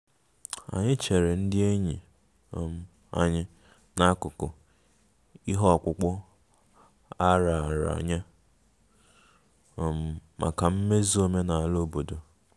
Anyị chere ndị enyi um anyị n'akụkụ ihe ọkpụkpụ a raara nye um maka mmezu omenala obodo